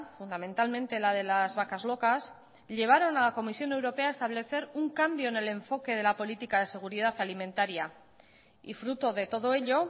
fundamentalmente la de las vacas locas llevaron a la comisión europea a establecer un cambio en el enfoque de la política de seguridad alimentaria y fruto de todo ello